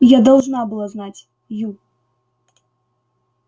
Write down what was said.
я должна была знать ю